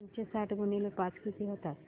दोनशे साठ गुणिले पाच किती होतात